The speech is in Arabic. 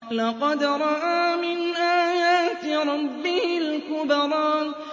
لَقَدْ رَأَىٰ مِنْ آيَاتِ رَبِّهِ الْكُبْرَىٰ